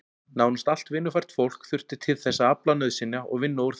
Nánast allt vinnufært fólk þurfti til þess að afla nauðsynja og vinna úr þeim.